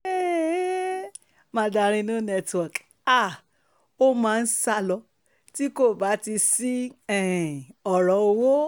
um mandarin no network háàá ó máa ń sá lọ tí kò bá ti sí um ọ̀rọ̀ owó